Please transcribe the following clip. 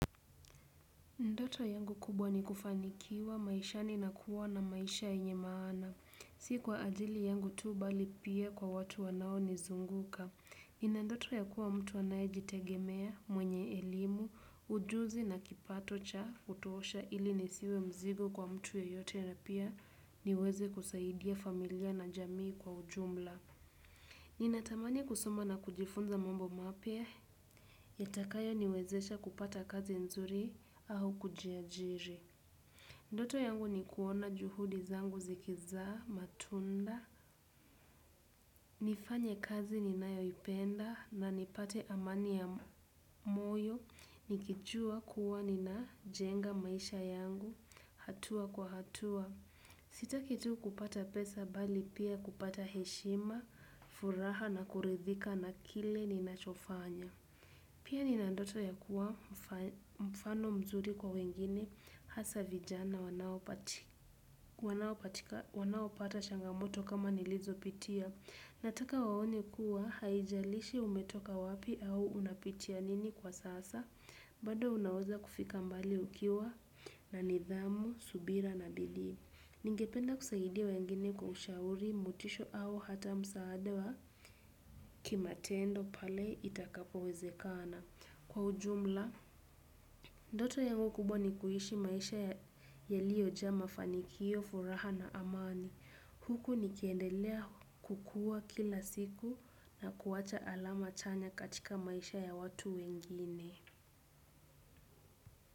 Ndoto yangu kubwa ni kufanikiwa maishani na kuwa na maisha yenye maana. Sikwa ajili yangu tuu bali pia kwa watu wanao nizunguka. Nina ndoto ya kuwa mtu anayejitegemea mwenye elimu, ujuzi na kipato cha kutuosha ili nisiwe mzigo kwa mtu yeyote na pia niweze kusaidia familia na jamii kwa ujumla. Nina tamani kusoma na kujifunza mambo mapya. Yatakayo niwezesha kupata kazi nzuri au kujiajiri. Ndoto yangu ni kuona juhudi zangu zikizaa, matunda, nifanye kazi ninayoipenda na nipate amani ya moyo, nikijua kuwa nina jenga maisha yangu, hatua kwa hatua. Sitaki tu kupata pesa bali pia kupata heshima, furaha na kurithika na kile ninachofanya. Pia ninandoto ya kuwa mfano mzuri kwa wengine hasa vijana wanapata changamoto kama nilizopitia. Nataka waone kuwa haijalishi umetoka wapi au unapitia nini kwa sasa, bado unaweza kufika mbali ukiwa na nidhamu, subira na bidii. Ningependa kusaidia wengine kwa ushauri motisho au hata msaada wa kimatendo pale itakapowezekana. Kwa ujumla, ndoto yangu kubwa ni kuishi maisha yaliyojaa mafanikio, furaha na amani. Huku nikiendelea kukua kila siku na kuwacha alama chanya katika maisha ya watu wengine.